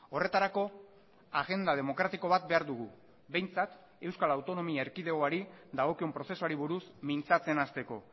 horretarako agenda demokratiko bat behar dugu behintzat euskal autonomia erkidegoari dagokion prozesuari buruz mintzatzen hasteko